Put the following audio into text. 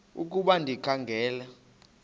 ukuba ndikha ngela